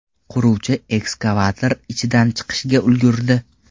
Quruvchi ekskavator ichidan chiqishga ulgurdi.